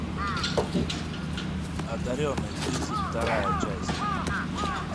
одаренные тридцать вторая часть